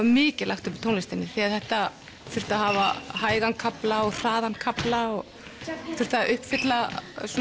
mikið lagt upp úr tónlistinni því þetta þurfti að hafa hægan kafla og hraðan kafla þurfti að uppfylla